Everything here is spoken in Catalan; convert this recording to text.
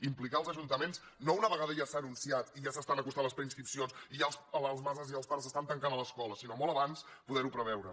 implicar els ajuntaments no una vegada ja s’ha anunciat i ja s’acosten les preinscripcions i ja les mares i els pares es tanquen a les escoles sinó molt abans poder ho preveure